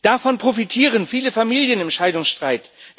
Davon profitieren viele Familien im Scheidungsstreit.